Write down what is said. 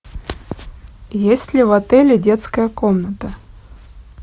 есть ли в отеле детская комната